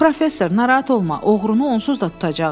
Professor, narahat olma, oğrunu onsuz da tutacağıq.